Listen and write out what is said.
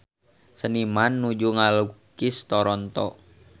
Seniman nuju ngalukis Toronto